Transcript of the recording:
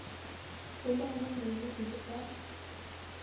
lomahanya meno e le ka